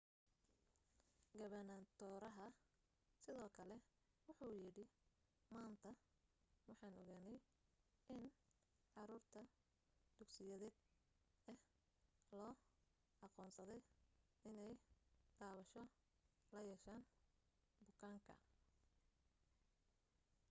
gabanatooraha sidoo kale wuxuu yidhi maanta waxaan ogaanay in caruur da' dugsiyeed ah loo aqoonsaday inay taabasho la yeesheen bukaanka